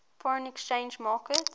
foreign exchange market